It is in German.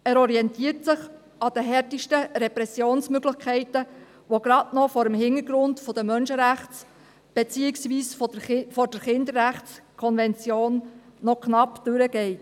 Er orientiert sich an den härtesten Repressionsmöglichkeiten, die gerade noch vor dem Hintergrund der Menschenrechts-, beziehungsweise der Kinderrechtskonvention knapp durchgehen.